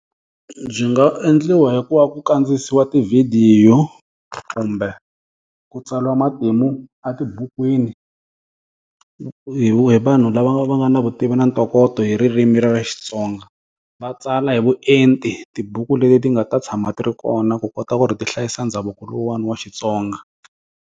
Byi nga endliwa hi ku va ku kandziyisiwa tividiyo, kumbe, ku tsariwa matimu a tibukwini, hi hi vanhu lava va nga na vutivi na ntokoto hi ririmi ra Xitsonga. Va tsala hi vuenti tibuku leti ti nga ta tshama ti ri kona ku kota ku ri ti hlayisa ndhavuko lowani wa Xitsonga.